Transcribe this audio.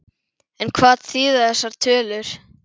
En hvað þýða þessar tölur?